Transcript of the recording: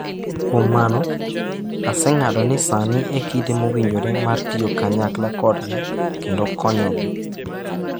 """Kuom mano, aseng'ado ni sani e kinde mowinjore mar tiyo kanyakla kodgi kendo konyogi."""